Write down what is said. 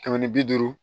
Kɛmɛ ni bi duuru